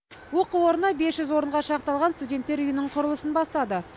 оқу орны бес жүз орынға шақталған студенттер үйінің құрылысын бастады